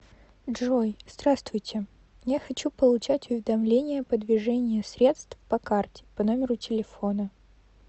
джой здравствуйте я хочу получать уведомления по движение средств по карте по номеру телефона